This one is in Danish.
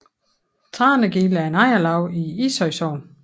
Tranegilde er et ejerlav i Ishøj Sogn